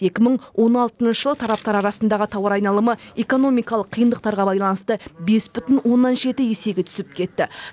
екі мың он алтыншы жылы тараптар арасындағы тауар айналымы экономикалық қиындықтарға байланысты бес бүтін оннан жеті есеге түсіп кетті